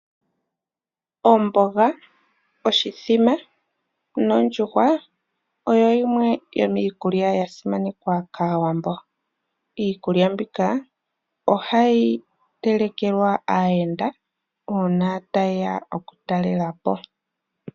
Omboga, oshimbombo nondjuhwa oyo yimwe yomiikulya ya simanekwa kaAwambo. Iikulya mbika oha yi telekelwa aayenda uuna ta yeya oku talela po.